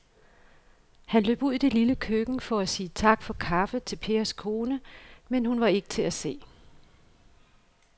Han løb ud i det lille køkken for at sige tak for kaffe til Pers kone, men hun var ikke til at se.